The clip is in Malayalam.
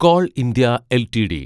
call India LTD